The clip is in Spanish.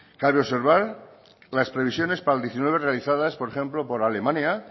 cabe observar las previsiones para el diecinueve realizadas por ejemplo por alemania